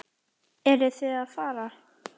Eruð þið að fara?